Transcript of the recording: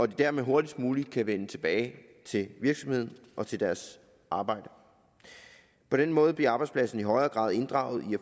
de dermed hurtigst muligt kan vende tilbage til virksomheden og til deres arbejde på den måde bliver arbejdspladsen i højere grad inddraget i